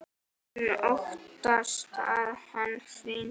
Hún óttast að hann hringi.